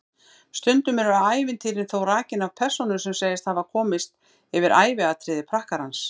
Stundum eru ævintýrin þó rakin af persónu sem segist hafa komist yfir æviatriði prakkarans.